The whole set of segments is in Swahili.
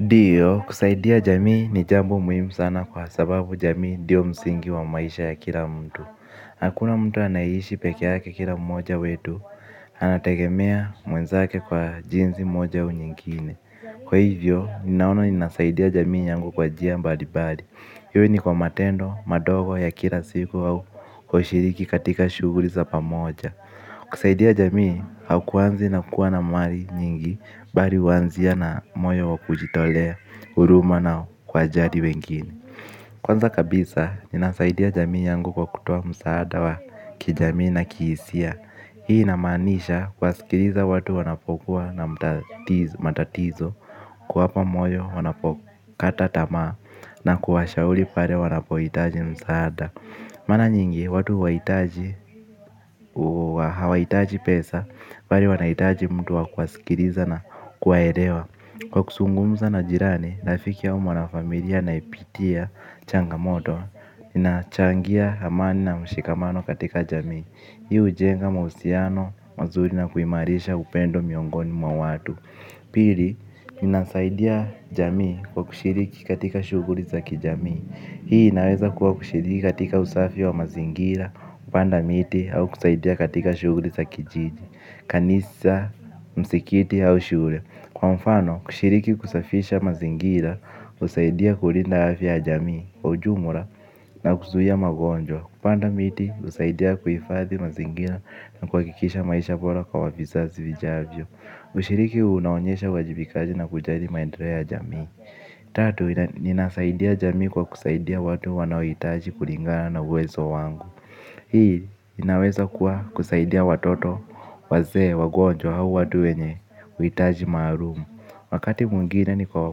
Ndio, kusaidia jamii ni jambo muhimu sana kwa sababu jamii ndio msingi wa maisha ya kila mtu. Hakuna mtu anayeishi peke yake kila mmoja wetu, anategemea mwenzake kwa jinsi moja au nyingine. Kwa hivyo, ninaona ninasaidia jamii yangu kwa njia mbalimbali iwe ni kwa matendo, madogo ya kila siku au kushiriki katika shughuli za pamoja. Kusaidia jamii hakuanzi na kuwa na mali nyingi bali huanzia na moyo wa kujitolea huruma na kuwajali wengine. Kwanza kabisa, ninasaidia jamii yangu kwa kutoa msaada wa kijamii na kihisia. Hii inamaanisha kuwasikiliza watu wanapokuwa na matatizo kuwapa moyo wanapokata tamaa na kuwashauri pale wanapohitaji msaada. Mara nyingi watu hawahitaji pesa, bali wanahitaji mtu wa kuwasikiliza na kuwaelewa. Kwa kuzungumza na jirani, rafiki au mwanafamilia anaipitia changamoto. Inachangia amani na mshikamano katika jamii. Hii hujenga mahusiano, mazuri na kuimarisha upendo miongoni mwa watu. Pili, inasaidia jamii kwa kushiriki katika shughuli za kijamii. Hii inaweza kuwa kushiriki katika usafi wa mazingira, kupanda miti au kusaidia katika shughuli za kijiji, kanisa, msikiti au shule. Kwa mfano, kushiriki kusafisha mazingira, husaidia kulinda afya ya jamii, kwa ujumla na kuzuia magonjwa. Kupanda miti, husaidia kuhifadhi mazingira na kuhakikisha maisha bora kwa vizazi vijavyo. Ushiriki huu unaonyesha uwajibikaji na kujali maendeleo ya jamii. Tatu, ninasaidia jamii kwa kusaidia watu wanaohitaji kulingana na uwezo wangu. Hii, inaweza kuwa kusaidia watoto wazee wagonjwa au watu wenye uhitaji maalumu. Wakati mwingine ni kwa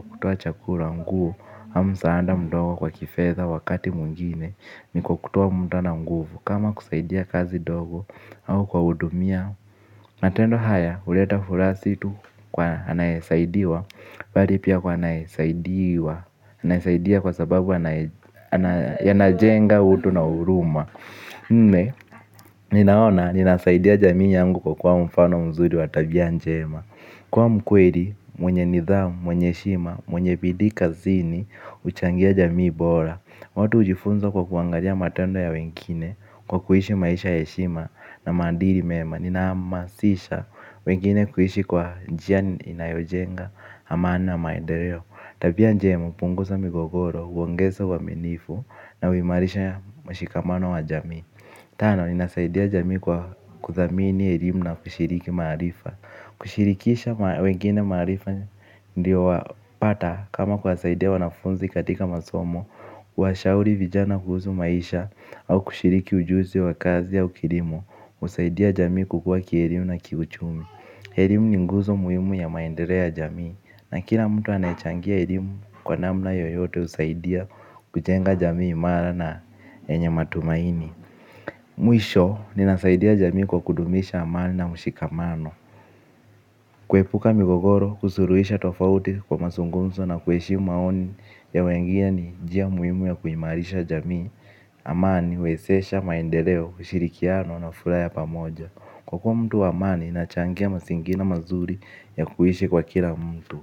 kutoa chakula nguo au msaada mdogo kwa kifedha wakati mwingine ni kwa kutoa muda na nguvu. Kama kusaidia kazi ndogo au kuwahudumia. Matendo haya, huleta furaha si tu kwa anayesaidiwa, bali pia kwa anayesaidiwa, anayesaidia kwa sababu anajenga utu na huruma. Nne, ninaona, ninasaidia jamii yangu kwa kuwa mfano mzuri wa tabia njema. Kuwa mkweli, mwenye nidhamu, mwenye heshima, mwenye bidii kazini, huchangia jamii bora. Watu hujifunza kwa kuangalia matendo ya wengine kwa kuishi maisha ya heshima na maadili mema. Ninahamasisha wengine kuishi kwa njia inayojenga amani na maendeleo. Tabia njema hupunguza migogoro, huongeza uaminifu na huimarisha mshikamano wa jamii. Tano, inasaidia jamii kwa kudhamini elimu na kushiriki maarifa. Kushirikisha wengine maarifa ndio wapata kama kuwasaidia wanafunzi katika masomo. Kuwashauri vijana kuhusu maisha au kushiriki ujuzi wa kazi au kielimu husaidia jamii kukua kielimu na kiuchumi. Elimu ni nguzo muhimu ya maendeleo ya jamii na kila mtu anayechangia elimu kwa namna yoyote husaidia kujenga jamii imara na yenye matumaini. Mwisho ninasaidia jamii kwa kudumisha amani na mshikamano. Kuepuka migogoro kusuluhisha tofauti kwa mazungumzo na kuheshimu maoni ya wengine ni njia muhimu ya kuimarisha jamii. Amani, huwezesha maendeleo ushirikiano na furaha ya pamoja. Kwa kuwa mtu wa amani, inachangia mazingira mazuri ya kuishi kwa kila mtu.